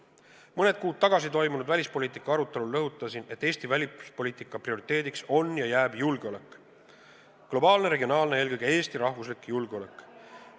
Mõni kuu tagasi toimunud välispoliitika arutelul rõhutasin, et Eesti välispoliitika prioriteediks on ja jääb julgeolek – globaalne, regionaalne ja eelkõige Eesti rahvuslik julgeolek.